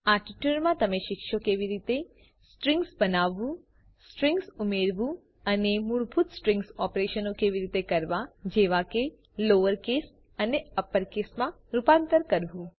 આ ટ્યુટોરીયલ માં તમે શીખશો કેવી રીતે સ્ટ્રીંગ્સ બનાવવું સ્ટ્રીંગ્સ ઉમેરવું અને મૂળભૂત સ્ટ્રીંગ્સ ઓપરેશનો કેવી રીતે કરવા જેવા કે લોઅર કેસ અને અપર કેસમાં રૂપાંતર કરવું